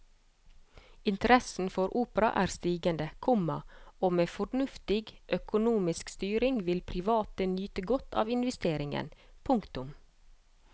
Interessen for opera er stigende, komma og med fornuftig økonomisk styring vil private nyte godt av investeringen. punktum